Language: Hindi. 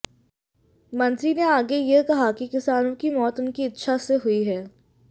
मंत्री ने आगे ये कहा कि किसानों की मौत उनकी इच्छा से हुई है